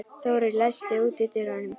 Þórir, læstu útidyrunum.